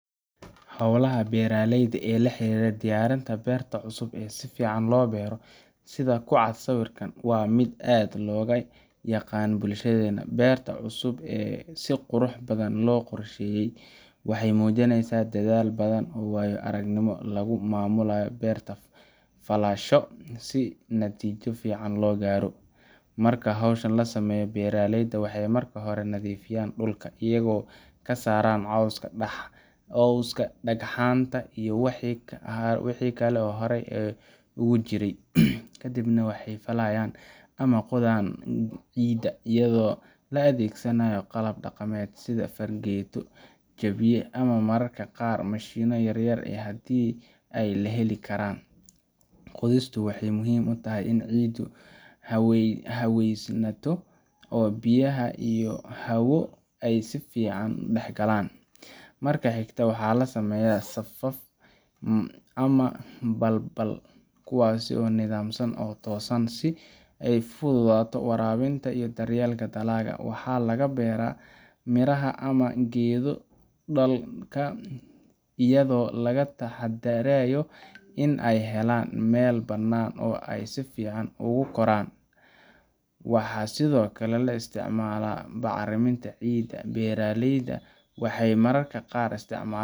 Hawlaha beeraleyda ee la xiriira diyaarinta beerta cusub ee si fiican loo beero sida ku cad sawirka, waa mid aad looga yaqaan bulshadeenna. Beerta cusub ee si qurux badan loo qorsheeyay waxay muujinaysaa dadaal badan iyo waayo-aragnimo lagu maamulay beer-falasho si natiijo fiican loo gaaro. Marka hawshan la sameynayo, beeraleyda waxay marka hore nadiifiyaan dhulka, iyagoo ka saaran cawska, dhagxaanta, iyo wixii haro ah ee horay uga jiray. Kadibna waxay falayaan ama qodaan ciidda, iyadoo la adeegsanayo qalab dhaqameed sida fargeeto, jabiiye, ama mararka qaar mishiinno yaryar haddii ay heli karaan. Qodistu waxay muhiim u tahay in ciiddu haweysanto oo biyaha iyo hawo ay si fiican u dhexgalaan. Marka xigta, waxaa la sameeyaa safaf ama balbal, kuwaas oo nidaamsan oo toosan, si ay u fududaato waraabinta iyo daryeelka dalagga. Waxaa lagu beeraa miraha ama geedo dhalka, iyadoo laga taxadarayo in ay helaan meel bannaan oo ay si fiican ugu koraan. Waxaa sidoo kale la isticmaalaa bacriminta ciidda – beeraleyda waxay mararka qaar isticmaalaan.